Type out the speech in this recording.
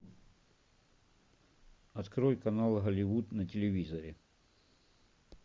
открой канал голливуд на телевизоре